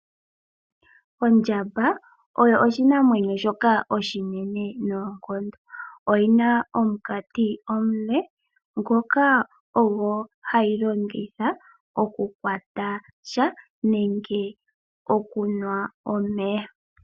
Ondjamba oyo oshinamwenyo shoka oshinene noonkondo oyi na omukati omule ngoka ogo hayi longitha okukwata sha nenge okunwa omeya.